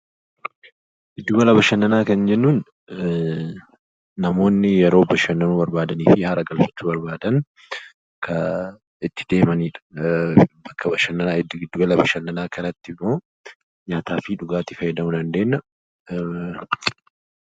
Giddu gala bashannanaa kan jennuun namoonni yeroo bashannanuu barbaadan yookiin haara galfachuu barbaadan kan itti deemanii giddu gala bashannanaa kanatti nyaataa fi dhugaatii fayyadamuu dandeenyudha.